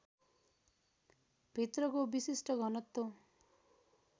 भित्रको विशिष्ट घनत्व